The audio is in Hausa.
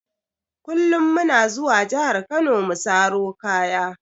Kullum muna zuwa jahar kano mu saro kaya.